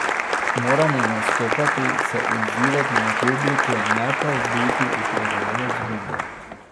Moramo nastopati, se odzivati na publiko, ne pa biti upravljavec gumbov.